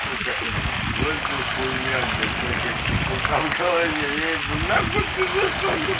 сука вот же хуйня блять всякая чепуха в голове нахуй ты зашёл мне